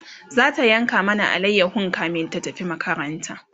zata yanka mana alayahon kamin ta tafi makaranta